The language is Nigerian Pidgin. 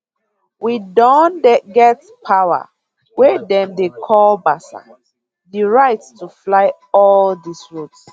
we don get power wey dem dey call basa di right to fly all dis routes